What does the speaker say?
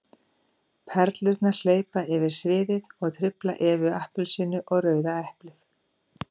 Perurnar hlaupa yfir sviðið og trufla Evu appelsínu og Rauða eplið.